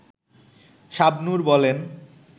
শাবনূর বলেন